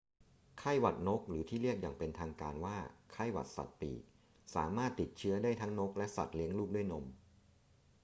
ไข้หวัดนก หรือที่เรียกอย่างเป็นทางการว่าไข้หวัดสัตว์ปีกสามารถติดเชื้อได้ทั้งนกและสัตว์เลี้ยงลูกด้วยนม